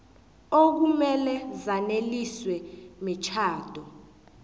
okumele zaneliswe mitjhado